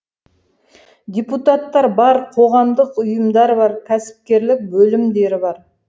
депутаттар бар қоғамдық ұйымдар бар кәсіпкерлік бөлімдері бар